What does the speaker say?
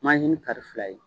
kari fila ye.